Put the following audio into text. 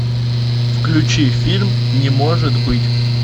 включи фильм не может быть